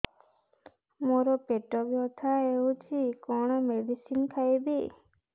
ମୋର ପେଟ ବ୍ୟଥା ହଉଚି କଣ ମେଡିସିନ ଖାଇବି